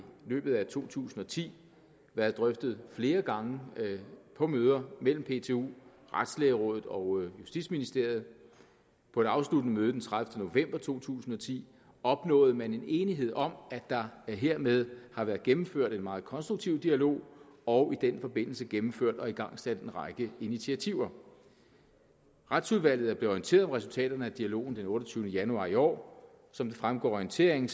løbet af to tusind og ti været drøftet flere gange på møder mellem ptu retslægerådet og justitsministeriet på det afsluttende møde den tredivete november to tusind og ti opnåede man enighed om at der hermed har været gennemført en meget konstruktiv dialog og i den forbindelse gennemført og igangsat en række initiativer retsudvalget er blevet orienteret om resultatet af dialogen den otteogtyvende januar i år som det fremgår af orienteringen